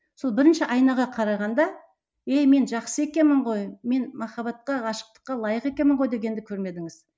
сол бірінші айнаға қарағанда ей мен жақсы екенмін ғой мен махаббатқа ғашықтыққа лайық екенмін ғой дегенді көрмедіңіз